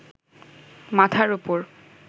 মাথার ওপর